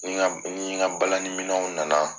Ko N nin Ka balani minew nana